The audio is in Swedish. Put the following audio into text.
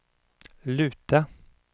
luta